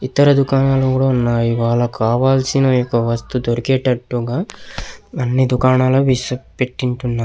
ఇతర దుఖానాలు కూడా ఉన్నాయి. వాళ్ళకి కావలసినవి కి యొక్క వస్తువు దొరికేటట్టు గ అన్ని దుఖానాలు పెట్టించి ఉన్నారు.